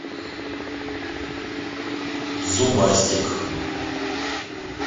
зубастик